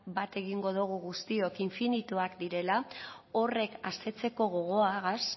bat egingo dugu guztiok infinituak direla horrek asetzeko gogoagaz